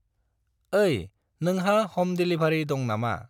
ओइ, नोंहा हम देलिभारि दं नामा?